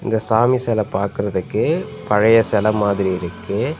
இந்த சாமி செல பாக்குறதுக்கு பழைய செல மாதிரி இருக்கு.